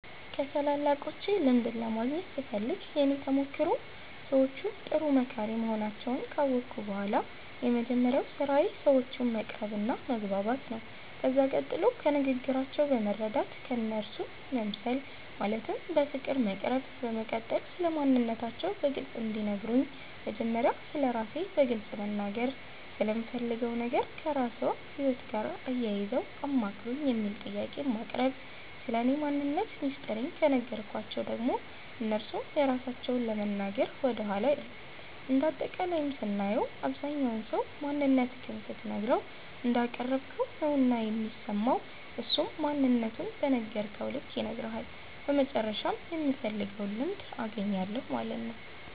ከታላላቆቼ ልምድን ለማግኘት ስፈልግ የእኔ ተሞክሮ ሰዎቹ ጥሩ መካሪ መሆናቸዉን ካወቅሁ በኋላ የመጀመሪያዉ ስራዬ ሰዎቹን መቅረብ መግባባት ነዉ ከዛ ቀጥሎ ከንግግራቸዉ በመረዳት እነርሱ መምሰል ማለትም በፍቅር መቅረብ በመቀጠል ስለማንነታቸዉ በግልፅ እንዲነግሩን መጀመሪያ ስለራሴ በግልፅ መናገርና ስለምፈልገዉ ነገር ከራስዎ ህይወት ጋር አያይዘዉ አማክሩኝ የሚል ጥያቄን ማቅረብ ስለኔ ማንነት ሚስጥሬን ከነገርኳቸዉ ደግሞ እነርሱም የራሳቸዉን ለመናገር ወደኋላ አይሉም እንደ አጠቃላይም ስናየዉ አብዛኝ ሰዉ ማንነትክን ስትነግረዉ እንዳቀረብከዉ ነዉና የሚሰማዉ እሱም ማንነቱን በነገርከዉ ልክ ይነግርሀል በመጨረሻም የምፈልገዉን ልምድ አገኛለሁ ማለት ነዉ።